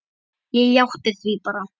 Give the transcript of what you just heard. Ég játti því bara.